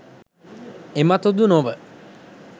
එමතුදු නොව,